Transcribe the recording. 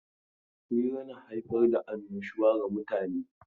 Hira na haifar da annashuwa ga mutane.